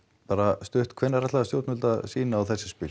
bara stutt hvenær ætla stjórnvöld að sýna á þessi spil